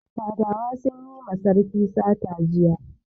Fadawa sun yi ma sarki sata jiya